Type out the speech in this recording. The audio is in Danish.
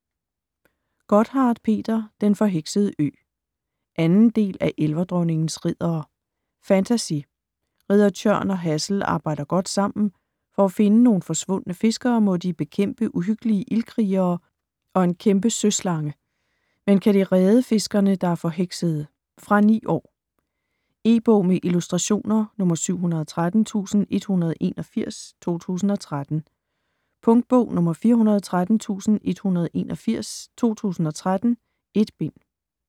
Gotthardt, Peter: Den forheksede ø 2. del af Elverdronningens riddere. Fantasy. Ridder Tjørn og Hassel arbejder godt sammen. For at finde nogle forsvundne fiskere, må de bekæmpe uhyggelige ildkrigere og en kæmpe søslange. Men kan de redde fiskerne, der er forheksede? Fra 9 år. E-bog med illustrationer 713181 2013. Punktbog 413181 2013. 1 bind.